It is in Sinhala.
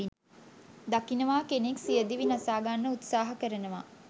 දකිනවා කෙනෙක් සියදිවි නසා ගන්න උත්සහා කරනවා.